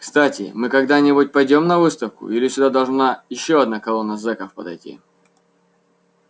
кстати мы когда-нибудь пойдём на выставку или сюда должна ещё одна колонна зеков подойти